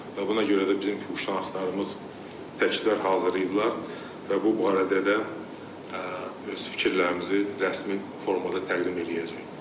Və buna görə də bizim mütəxəssislərimiz təkliflər hazırlayıblar və bu barədə də öz fikirlərimizi rəsmi formada təqdim eləyəcəyik.